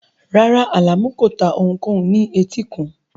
Rárá, Alamu kò ta ohunkóhun ní etíkun